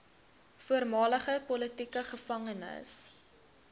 voormalige politieke gevangenes